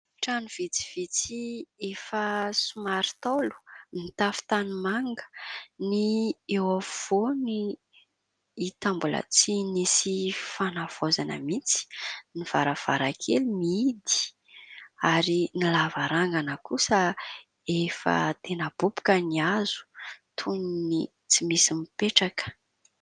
Trano vitsivitsy efa somary ntaolo, mitafo tanimanga. Ny eo afovoany hita mbola tsy nisy fanavaozana mihitsy, ny varavarankely mihidy ary ny lavarangana kosa, efa tena boboka ny hazo toy ny tsy misy mipetraka.